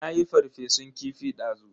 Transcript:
Nayi ferfesun kifi dazu.